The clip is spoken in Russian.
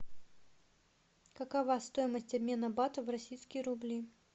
какова стоимость обмена бата в российские рубли